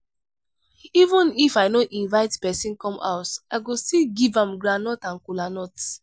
even if i no inivte pesin come house i go still give am groundnut and kola nut.